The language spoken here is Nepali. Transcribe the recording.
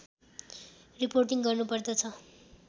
रिपोर्टिङ गर्नु पर्दछ